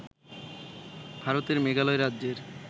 ভারতের মেঘালয় রাজ্যের